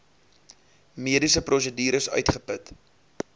mediese prosedures uitgeput